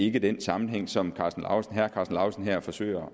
ikke er den sammenhæng som herre karsten lauritzen her forsøger